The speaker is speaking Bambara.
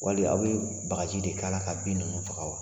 Wali aw bɛ bagaji de kɛra ka bin ninnu faga wa?